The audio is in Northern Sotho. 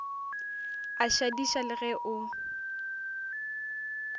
a šadiša le ge o